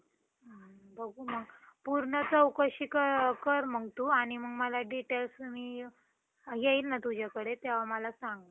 जसं कि आता खुपजण आता सगळ्यांकडेच android mobile झालेलं आहे जसं कि laptop वर पण खुपजण comedy हेय computer मध्येपण entertainment त्यांचं करतात जसं कि काहींना picture